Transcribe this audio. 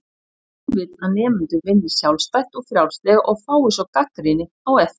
Hann vill að nemendur vinni sjálfstætt og frjálslega og fái svo gagnrýni á eftir.